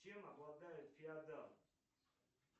чем обладает феодал